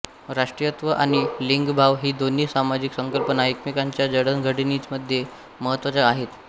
राष्ट्रीयत्व आणि लिंगभाव ही दोन्ही सामाजिक संकल्पना एकमेकांच्या जडणघडणीमध्ये महत्त्वाच्या आहेत